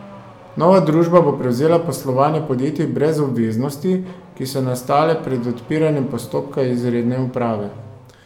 Nova družba bo prevzela poslovanje podjetij brez obveznosti, ki so nastale pred odpiranjem postopka izredne uprave.